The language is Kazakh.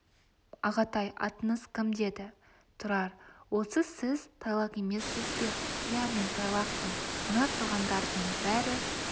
ағатай атыңыз кім деді тұрар осы сіз тайлақ емессіз бе иә мен тайлақпын мына тұрғандардың бәрі